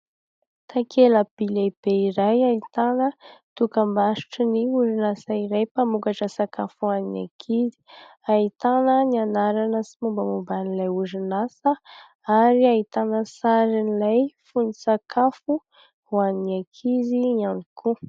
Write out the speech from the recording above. Takela-by lehibe iray ahitana dokam-barotra ny orinasa iray mpamokatra sakafo ho an'ny ankizy. Ahitana ny anarana sy mombamomba an'ilay orinasa ary ahitana sarin'ilay fonon-tsakafo ho an'ny ankizy ihany koa.